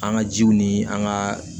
An ka jiw ni an ka